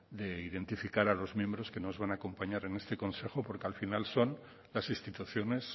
de identificar a los miembros que nos van a acompañar en este consejo porque al final son las instituciones